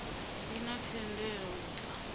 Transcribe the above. i na themendelo u bva